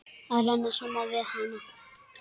Að renna saman við hana.